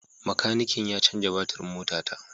Makanikin ya canza batirin motata.